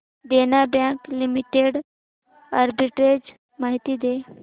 देना bank limited arbitrage माहिती दे